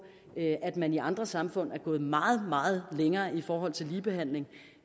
at man i andre samfund er gået meget meget længere i forhold til ligebehandling